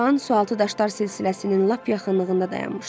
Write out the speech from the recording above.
Qaçağan sualtı daşlar silsiləsinin lap yaxınlığında dayanmışdı.